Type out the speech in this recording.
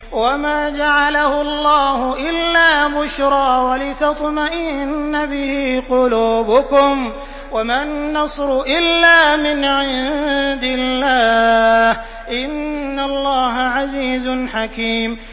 وَمَا جَعَلَهُ اللَّهُ إِلَّا بُشْرَىٰ وَلِتَطْمَئِنَّ بِهِ قُلُوبُكُمْ ۚ وَمَا النَّصْرُ إِلَّا مِنْ عِندِ اللَّهِ ۚ إِنَّ اللَّهَ عَزِيزٌ حَكِيمٌ